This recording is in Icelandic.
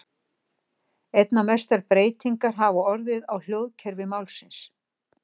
Einna mestar breytingar hafa orðið á hljóðkerfi málsins.